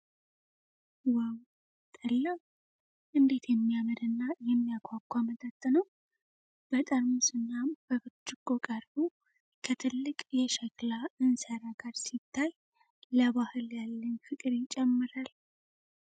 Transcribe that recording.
ዋው! ጠላ! እንዴት የሚያምርና የሚያጓጓ መጠጥ ነው! በጠርሙስ እና በብርጭቆ ቀርቦ፣ ከትልቅ የሸክላ እንስራ ጋር ሲታይ ለባህል ያለኝ ፍቅር ይጨምራል!